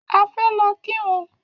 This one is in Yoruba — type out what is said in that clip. A fẹ́ lọ kírun